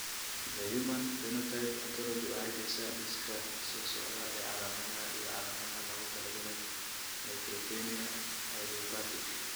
The Human Phenotype Ontology waxay bixisaa liiska soo socda ee calaamadaha iyo calaamadaha loogu talagalay neutropenia idiopathic.